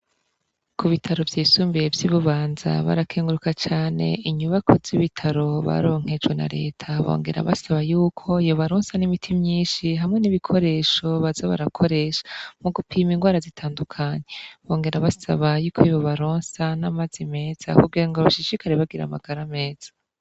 Kubitaro vyisumbuye vy'ibubanza barakenguruka cane inyubakwa z'ibitaro baronkejwe na reta. Bongera basaba yuko yobarosa n'imiti myishi hamwe n'ibikoresho baza barakoresha mugupima ingwara zitandukanye. Bongera basaba yuko yobarosa n'amazi meza kugirango bashishikare bagira amagara meza.